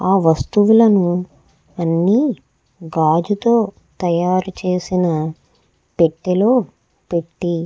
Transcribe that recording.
ఆ వస్తువులు అన్ని గాజుతో తయారు చేసిన పెట్టెలో పెట్టి --